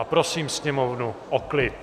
A prosím sněmovnu o klid!